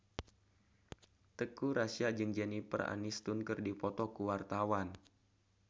Teuku Rassya jeung Jennifer Aniston keur dipoto ku wartawan